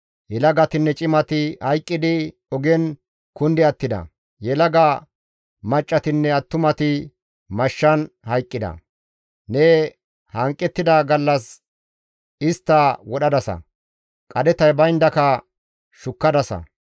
Yelagatinne cimati hayqqidi ogen kundi attida; yelaga maccassatinne attumati mashshan hayqqida; ne hanqettida gallas istta wodhadasa; qadhetay bayndaka shukkadasa.